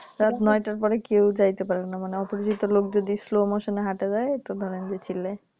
রাত নয়টার পরে কেউ যেতে পারেনা অপরিচিত লোক যদি Slow motion এ হেঁটে যায় তো ধরেন যে চিল্লায়